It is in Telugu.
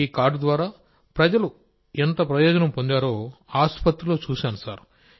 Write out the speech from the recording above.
ఈ కార్డు ద్వారా ప్రజలు ఎంత ప్రయోజనం పొందారో ఆసుపత్రిలో చూశాం సార్